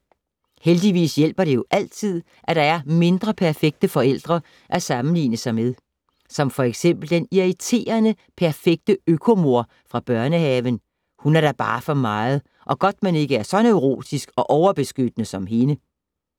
Heldigvis hjælper det jo altid, at der er mindre perfekte forældre at sammenligne sig med. Som for eksempel den irriterende, perfekte øko-mor fra børnehaven. Hun er da bare for meget, og godt man ikke er så neurotisk og overbeskyttende som hende!